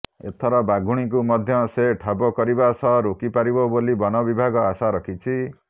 ଏଥର ବାଘୁଣୀକୁ ମଧ୍ୟ ସେ ଠାବ କରିବା ସହ ରୋକି ପାରିବ ବୋଲି ବନ ବିଭାଗ ଆଶା ରଖିଛି